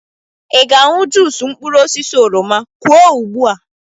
Ị ga-aṅụ juusu mkpụrụ osisi oroma? Kwuo ugbu a!